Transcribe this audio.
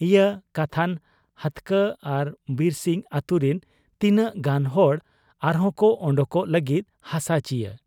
'ᱤᱭᱟᱹ ᱠᱟᱛᱷᱟᱱ ᱦᱟᱹᱛᱠᱟᱹ ᱟᱨ ᱵᱤᱨᱥᱤᱝ ᱟᱹᱛᱩᱨᱤᱱ ᱛᱤᱱᱟᱹᱜ ᱜᱟᱱ ᱦᱚᱲ ᱟᱨᱦᱚᱸᱠᱚ ᱟᱰᱚᱠᱚᱜ ᱞᱟᱹᱜᱤᱫ ᱦᱟᱥᱟ ᱪᱤᱭᱟᱹ ᱾